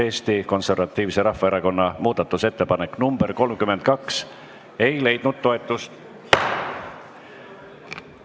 Eesti Konservatiivse Rahvaerakonna muudatusettepanek nr 32 ei leidnud toetust.